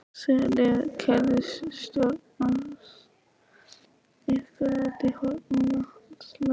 Sigríður: Keyrði stjórnarandstaðan ykkur út í horn með vatnalögin?